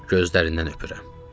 Gözlərindən öpürəm.